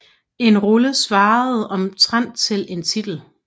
En rulle svarede omtrent til en titel